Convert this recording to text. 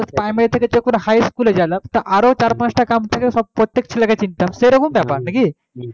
primary থেকে যখন high school এ যেলাম তা আরও চার পাঁচটা গ্রাম থেকে সব প্রত্যেক ছেলেকে চিনতাম সেইরকম ব্যাপার নাকি,